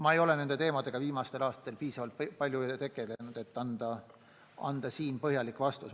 Ma ei ole nende teemadega viimastel aastatel piisavalt palju tegelenud, et anda siin põhjalik vastus.